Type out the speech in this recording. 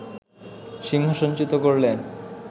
সিংহাসনচ্যুত করলে